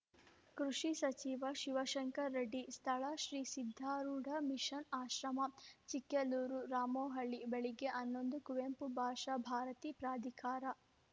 ಕೃಷಿ ಸಚಿವ ಶಿವಶಂಕರ ರೆಡ್ಡಿ ಸ್ಥಳ ಶ್ರೀ ಸಿದ್ಧಾರೂಢ ಮಿಷನ್‌ ಆಶ್ರಮ ಚಿಕ್ಕೆಲ್ಲೂರು ರಾಮೋಹಳ್ಳಿ ಬೆಳಗ್ಗೆ ಹನ್ನೊಂದು ಕುವೆಂಪು ಭಾಷಾ ಭಾರತಿ ಪ್ರಾಧಿಕಾರ